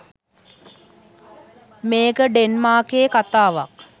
මේක ඩෙන්මාකයේ කතාවක්.